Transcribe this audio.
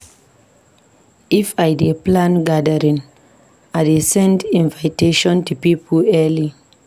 If I dey plan gathering, I dey send invitation to pipo early.